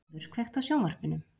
Brynjúlfur, kveiktu á sjónvarpinu.